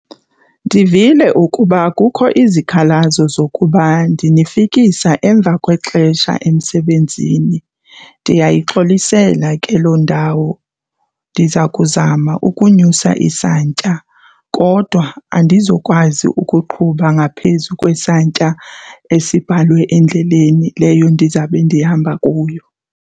Ndivile ukuba kukho izikhalazo zokuba ndinifikisa emva kwexesha emsebenzini, ndiyayixolisela ke loo ndawo ndiza kuzama ukunyusa isantya, kodwa andizukwazi ukuqhuba ngaphezu kwesantya esibhalwe endleleni leyo ndizabe ndihamba kuyo.